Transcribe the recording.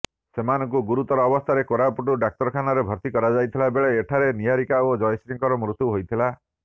ସେମାନଙ୍କୁ ଗୁରୁତର ଅବସ୍ଥାରେ କୋରାପୁଟ ଡାକ୍ତରଖାନାରେ ଭର୍ତ୍ତି କରାଯାଇଥିଲା ବେଳେ ଏଠାରେ ନିହାରିକା ଓ ଜୟଶ୍ରୀଙ୍କ ମୃତ୍ୟୁ ହୋଇଥିଲା